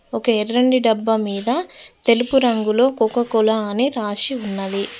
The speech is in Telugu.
ఒక ఎర్రని డబ్బా మీద తెలుపు రంగులో కోకోకోలా అని రాసి ఉన్నది.